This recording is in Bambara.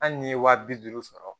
Hali n'i ye wa bi duuru sɔrɔ